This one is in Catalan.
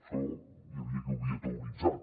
això hi havia qui ho havia teoritzat